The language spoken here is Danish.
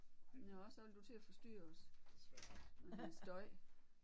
Nåh så vil du til at forstyrre os med din støj